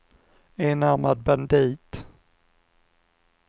enarmad bandit